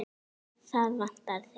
Það vantar þig.